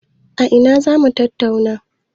A ina za mu tattauna?